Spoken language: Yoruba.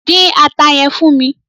Dín ata yẹn fún mi!